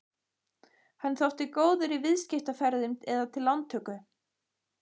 Hann þótti góður í viðskiptaferðum eða til lántöku.